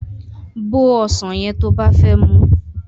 Bó ọsàn yẹn to bá fẹ́ muú